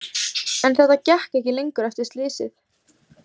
En þetta gekk ekki lengur, ekki eftir slysið.